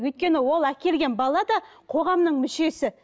өйткені ол әкелген бала да қоғамның мүшесі